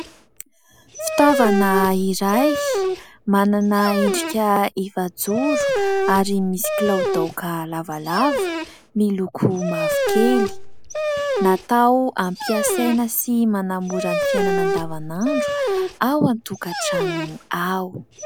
Fitaovana iray, manana endrika efajoro ary misy kiloadoaka lavalava, miloko mavokely. Natao hampiasaina sy manamora ny fiainana andavan'andro ao an-tokatrano ao.